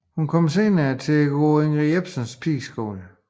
Hun kom senere til at gå på Ingrid Jespersens pigeskole